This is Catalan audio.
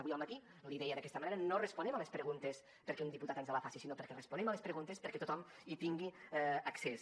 avui al matí l’hi deia d’aquesta manera no responem a les preguntes perquè un diputat ens les faci sinó que responem a les preguntes perquè tothom hi tingui accés